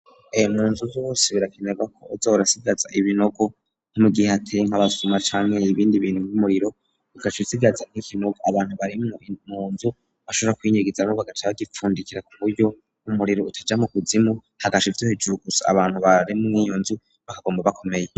Eyo mu nzuz wose birakimerwako azorasigaza ibinogo nk'umu gihe hateye nk'abasuma canke y'ibindi bintu m'umuriro igaca isigaza nk'ikinogo abantu barimwo mu nzu bashora kwyinyigiza mubagacaa gipfundikira ku buryo umuriro utaja mu kuzimu hagasha ivyohejuru gusa abantu bararemw iyo nzu bakagomba bakomeye.